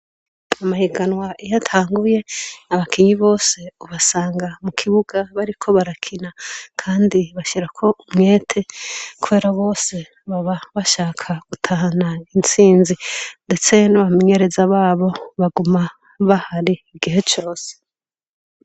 Amahiganwa iyo atanguye, abakinyi bose ubasanga mu kibuga bariko barakina. Kandi bashira ko umwete kubera bose baba bashaka gutahana insinzi; ndetse n'abamenyereza babo baguma bahari igihe cose.